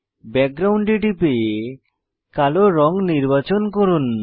background এ টিপে কালো রঙ নির্বাচন করুন